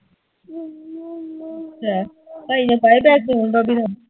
ਅੱਛਾ ਭਾਈ ਨੇ ਪਾਏ ਪੈਸੇ ਭਾਭੀ